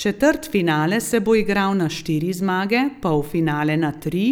Četrtfinale se bo igral na štiri zmage, polfinale na tri,